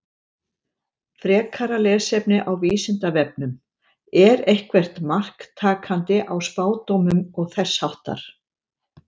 Frekara lesefni á Vísindavefnum: Er eitthvert mark takandi á spádómum og þess háttar?